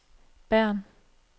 Bern